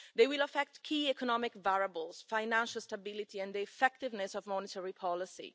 They will affect key economic variables, financial stability and the effectiveness of monetary policy.